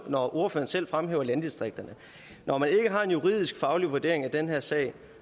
når ordføreren selv fremhæver landdistrikterne når man ikke har en juridisk faglig vurdering af den her sag